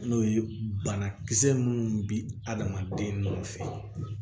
N'o ye banakisɛ munnu bi adamaden nɔfɛ